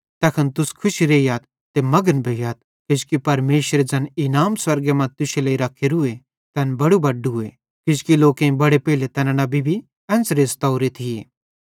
तैखन तुस खुशी रेइयथ ते मघन भोइयथ किजोकि परमेशरे ज़ैन इनाम स्वर्गे मां तुश्शे लेइ रख्खेरूए तैन बड़ू बड्डूए किजोकि लोकेईं बड़े पेइले तैना नबी भी एन्च़रे सतोरे थिये